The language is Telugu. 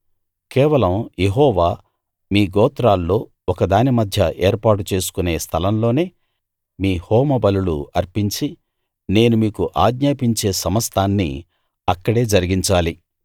కేవలం యెహోవా మీ గోత్రాల్లో ఒకదాని మధ్య ఏర్పాటు చేసుకునే స్థలంలోనే మీ హోమబలులు అర్పించి నేను మీకు ఆజ్ఞాపించే సమస్తాన్నీ అక్కడే జరిగించాలి